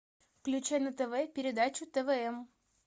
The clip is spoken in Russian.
включи на тв передачу твм